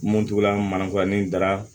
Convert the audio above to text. Mun t'u la manaforo ni dara